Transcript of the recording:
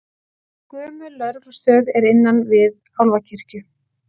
Gömul lögreglustöð er innan við Álfakirkju